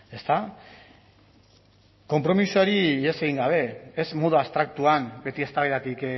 ezta konpromisoari ihes egin gabe ez modu abstraktuan beti eztabaidatik